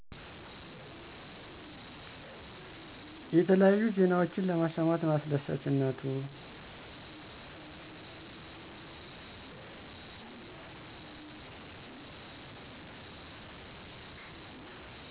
የተለያዩ ዜናወችን ለመሰማት ነው አሰደሳችነቱ።